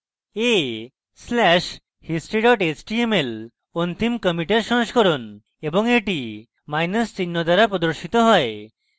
a slash history html অন্তিম কমিটের সংস্করণ এবং এটি মাইনাস চিহ্ন দ্বারা প্রদর্শিত হয়